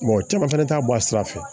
Mɔgɔ caman fɛnɛ t'a bɔ a sira fɛ